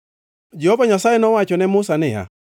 Jehova Nyasaye nowacho ne Musa niya,